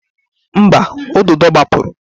Mba, ududo gbapụrụ.